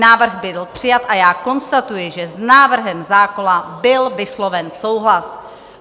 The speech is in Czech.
Návrh byl přijat a já konstatuji, že s návrhem zákona byl vysloven souhlas.